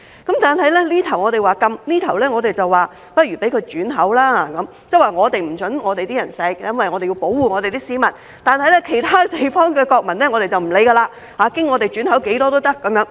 但這邊廂我們說要禁止，那邊廂我們卻說不如讓它轉口，即我們不准香港人吸食，因為我們要保護我們的市民，而其他地方的國民，我們便不理會，經香港轉口多少也可。